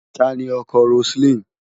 Ta ni ọkọ Roseline?